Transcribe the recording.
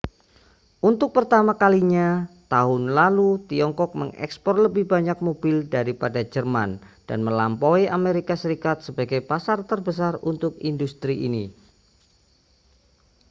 untuk pertama kalinya tahun lalu tiongkok mengekspor lebih banyak mobil daripada jerman dan melampaui amerika serikat sebagai pasar terbesar untuk industri ini